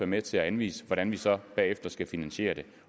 med til at anvise hvordan vi så bagefter skal finansiere det